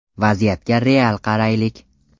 Vaziyatga real qaraylik.